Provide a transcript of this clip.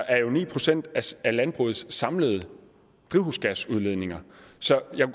er jo ni procent af landbrugets samlede drivhusgasudledninger så jeg